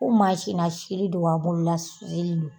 Ko na sini don wa bolola sini don?